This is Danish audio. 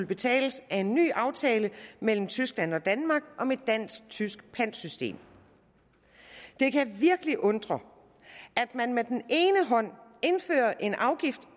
betales af en ny aftale mellem tyskland og danmark om et dansk tysk pantsystem det kan virkelig undre at man med den ene hånd indfører en afgift